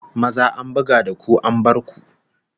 Maza an buga da ku an bar ku!